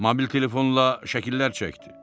Mobil telefonla şəkillər çəkdi.